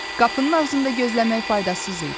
Qapının ağzında gözləmək faydasız idi.